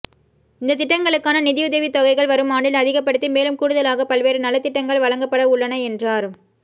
இந்த திட்டங்களுக்கான நிதியுதவி தொகைகள் வரும் ஆண்டில் அதிகப்படுத்தி மேலும் கூடுதலாக பல்வேறு நலத்திட்டங்கள் வழங்கப்பட உள்ளன என்றார்